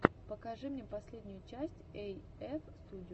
покажи мне последнюю часть эйэф студио